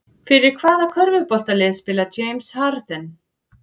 Fyrir hvaða körfuboltalið spilar James Harden?